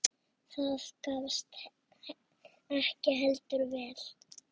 Það gafst heldur ekki vel.